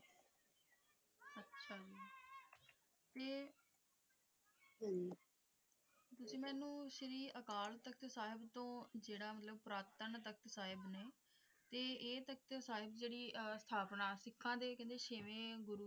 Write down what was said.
ਤੇ ਤੁਸੀਂ ਮੈਨੂੰ ਸ਼੍ਰੀ ਅਕਾਲ ਸਾਹਿਬ ਤੋਂ ਜਰੀ ਪੁਰਾਤਨ ਸਾਹਿਬ ਨੇ ਤੇ ਇਹ ਤਖਤ ਸਾਹਿਬ ਦੇ ਅਰਥ ਆਪ ਨਾਲ ਸਿੱਖਾਂ ਦੇ ਛੇਵੇਂ ਗੁਰੂ